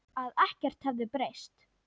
Að ekkert hefði breyst.